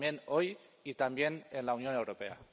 También hoy y también en la Unión Europea.